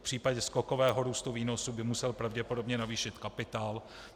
V případě skokového růstu výnosů by musel pravděpodobně navýšit kapitál.